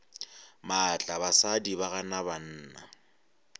maatla basadi ba gana banna